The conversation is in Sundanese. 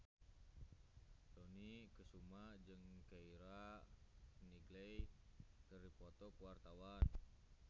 Dony Kesuma jeung Keira Knightley keur dipoto ku wartawan